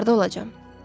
Harda olacam?